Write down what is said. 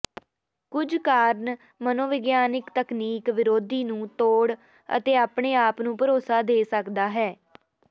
ਕੁਝ ਕਾਰਨ ਮਨੋਵਿਗਿਆਨਕ ਤਕਨੀਕ ਵਿਰੋਧੀ ਨੂੰ ਤੋੜ ਅਤੇ ਆਪਣੇ ਆਪ ਨੂੰ ਭਰੋਸਾ ਦੇ ਸਕਦਾ ਹੈ